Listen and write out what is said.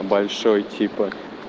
большой типа